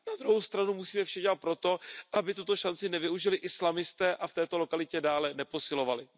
Na druhou stranu musíme dělat vše pro to, aby tuto šanci nevyužili islamisté a v této lokalitě dále neposilovali.